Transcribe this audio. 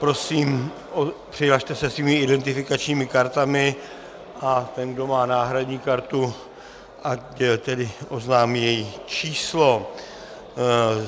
Prosím, přihlaste se svými identifikačními kartami a ten, kdo má náhradní kartu, ať tedy oznámí její číslo.